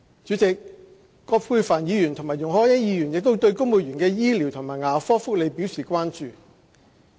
主席，葛珮帆議員和容海恩議員亦對公務員的醫療和牙科福利表示關注。